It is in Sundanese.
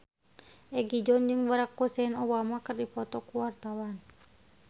Egi John jeung Barack Hussein Obama keur dipoto ku wartawan